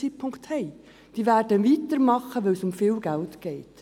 Es wird weitergemacht, da es um viel Geld geht.